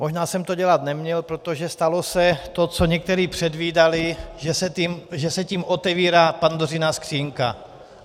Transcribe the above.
Možná jsem to dělat neměl, protože stalo se to, co někteří předvídali, že se tím otevírá Pandořina skříňka.